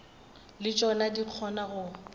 le tšona di kgona go